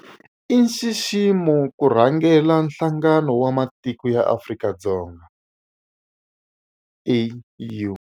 I nxiximo ku rhangela Nhlangano wa Matiko ya Afrika, AU